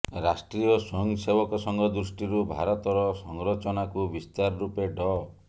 ରାଷ୍ଟ୍ରୀୟ ସ୍ୱୟଂସେବକ ସଂଘ ଦୃଷ୍ଟିରୁ ଭାରତର ସଂରଚନାକୁ ବିସ୍ତାର ରୂପେ ଡ